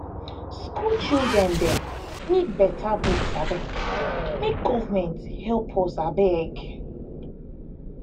school children dem need better books make government help us abeg